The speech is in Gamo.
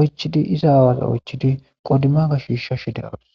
oychidi iza aawaza oychidi qodimaga shiishashe de7awus.